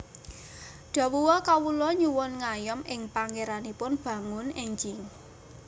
Dhawuha Kawula nyuwun ngayom ing Pangéranipun bangun énjing